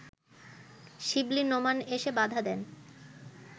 শিবলী নোমান এসে বাধা দেন